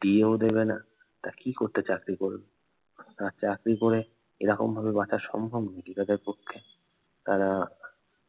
DA ও দেবে না তা কি করতে চাকরি করবে। তার চাকরি করে এরকম ভাবে বাঁচা সম্ভব নাকি তাদের পক্ষে তারা